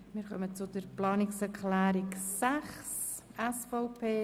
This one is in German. Wir kommen zur Begründung der Planungserklärung 6 der SVP.